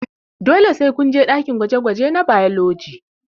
Dole sai kunje ɗakin gwaje gwaje na bailoji